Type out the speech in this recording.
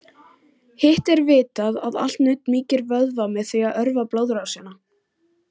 Hitt er vitað að allt nudd mýkir vöðva með því að örva blóðrásina.